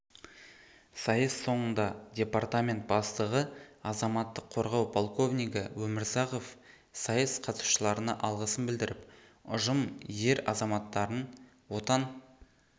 сайыс соңында департамент бастығы азаматтық қорғау полковнигі өмірзахов сайыс қатысушыларына алғысын білдіріп ұжым ер азаматтарын отан